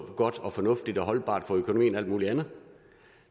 godt og fornuftigt og holdbart for økonomien og alt muligt andet